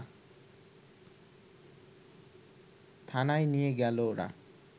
থানায় নিয়ে গেল ওরা